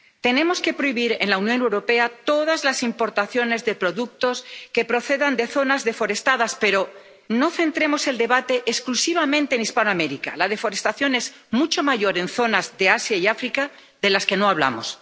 Tenemos que prohibir en la Unión Europea todas las importaciones de productos que procedan de zonas deforestadas, pero no centremos el debate exclusivamente en Hispanoamérica la deforestación es mucho mayor en zonas de Asia y África, de las que no hablamos.